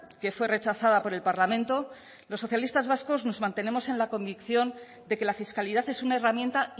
que fue rechazada por el parlamento los socialistas vascos nos mantenemos en la convicción de que la fiscalidad es una herramienta